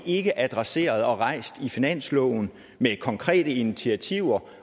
ikke adresseret og rejst i finansloven med konkrete initiativer